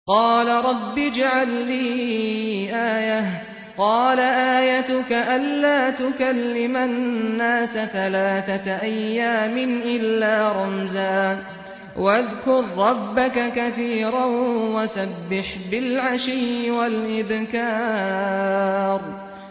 قَالَ رَبِّ اجْعَل لِّي آيَةً ۖ قَالَ آيَتُكَ أَلَّا تُكَلِّمَ النَّاسَ ثَلَاثَةَ أَيَّامٍ إِلَّا رَمْزًا ۗ وَاذْكُر رَّبَّكَ كَثِيرًا وَسَبِّحْ بِالْعَشِيِّ وَالْإِبْكَارِ